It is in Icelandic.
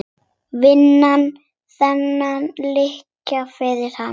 Vinna þennan leik fyrir hann!